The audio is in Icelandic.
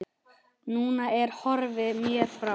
Núna ertu horfin mér frá.